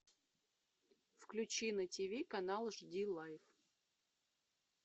включи на тв канал жди лайв